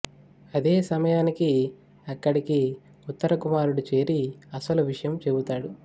అదే సమయానికి అక్కడికి ఉత్తర కుమారుడు చేరి అసలు విషయం చెబుతాడు